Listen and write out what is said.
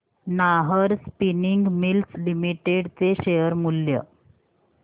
Nahar spinning mills limited चे share मूल्य